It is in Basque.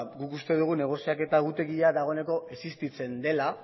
guk uste dugu negoziaketa egutegia dagoeneko existitzen dela